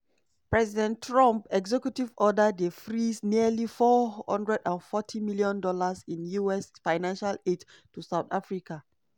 president trump executive order dey freeze nearly $440 million in us financial aid to south africa.